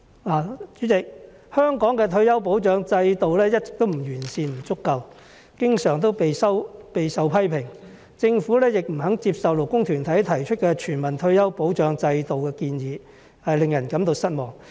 代理主席，香港的退休保障制度一直不完善、不足夠，經常備受批評；政府亦不肯接受勞工團體提出的全民退休保障制度的建議，令人感到失望。